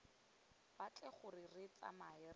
batle gore re tsamae re